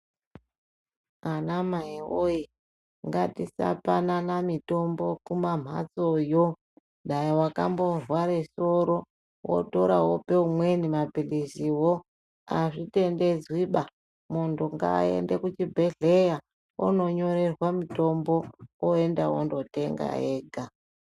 Anamai woye ngatisapanana mitombo kumamhatsoyo, dai wakamborware soro, wotora wope umweni maphiliziwo azvitendedzwiba. Muntu ngaende kuchibhehleya ononyorerwa mutombo oenda onotenga ega.